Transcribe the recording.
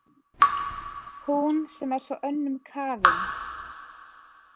Hún sem er svo önnum kafin.